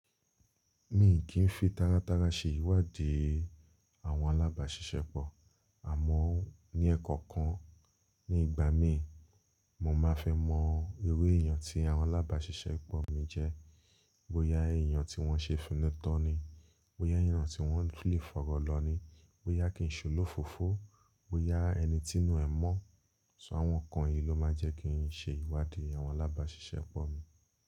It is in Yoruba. Mi kí n fi tára tára ṣe ìwádìí àwọn alábàáṣiṣẹ́pọ̀, àmọ́ ní ẹ̀ẹ̀kọ̀kan nígbà mí, mo máa fẹ́ mọ irú èèyàn tí àwọn alábàáṣiṣẹ́pọ̀ mi jẹ́. Bóyá èèyàn tí wọ́n ṣe finútan ni, bóyá èèyàn tí wọ́n lè fọ̀rọ̀ lọ ni, bóyá kì ń ṣolófoófo, bóyá ẹni tí inú ẹ̀ mọ́. Ṣọ́ àwọn nǹkan yìí ló máa jẹ́ kí n ṣe ìwádìí àwọn alábàáṣiṣẹ́pọ̀ mi.